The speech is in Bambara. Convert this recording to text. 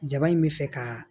Jaba in bɛ fɛ ka